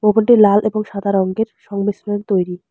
ভবনটি লাল এবং সাদা রঙের সংমিশ্রণে তৈরি।